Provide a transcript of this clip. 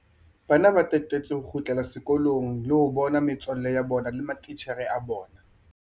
Bana ba tatetse ho kgutlela sekolong le ho bona metswalle ya bona le matitjhere a bona.